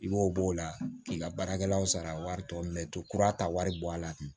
I b'o b'o la k'i ka baarakɛlaw sara wari tɔ to kura ta wari bɔ a la